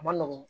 A ma nɔgɔn